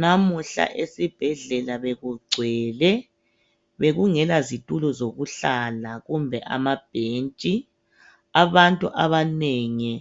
Namuhla esibhedlela bekugcwele bekungelazitulo zokuhlala kumbe amabhentshi. Abantu abanengi